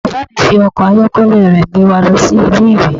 Bàbá mi fi ọkọ̀ ayọ́kẹ́lẹ́ rẹ̀ gbé wa lọ sí Ilé-ìwé.